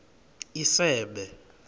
isebe